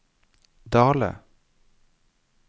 Dale